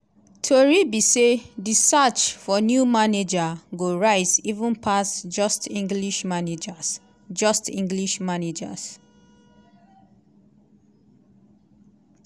tori be say di search for new manager go rise even pass just english managers. just english managers.